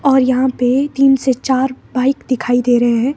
और यहां पे तीन से चार बाइक दिखाई दे रहे हैं।